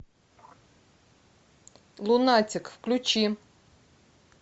лунатик включи